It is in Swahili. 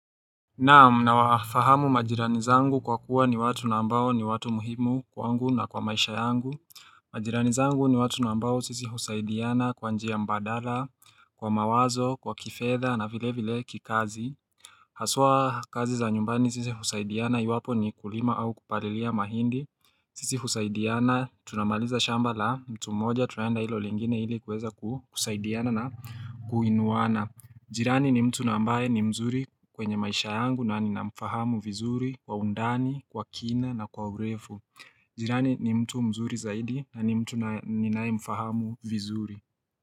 Naam nawafahamu majirani zangu kwa kuwa ni watu na ambao ni watu muhimu kwangu na kwa maisha yangu majirani zangu ni watu na ambao sisi husaidiana kwa njia mbadala, kwa mawazo, kwa kifedha na vile vile kikazi Haswa kazi za nyumbani sisi husaidiana yuwapo ni kulima au kupalilia mahindi sisi husaidiana tunamaliza shamba la mtu mmoja tunaenda hilo lingine ili kuweza kusaidiana na kuinuana. Jirani ni mtu na ambaye ni mzuri kwenye maisha yangu na ninamfahamu vizuri kwa undani, kwa kina na kwa urefu. Jirani ni mtu mzuri zaidi na ni mtu ninayemfahamu vizuri.